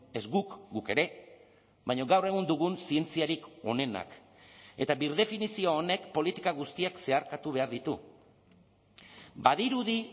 ez guk guk ere baina gaur egun dugun zientziarik onenak eta birdefinizio honek politika guztiak zeharkatu behar ditu badirudi